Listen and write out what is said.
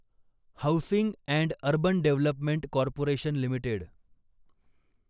housing and urban development corporation limited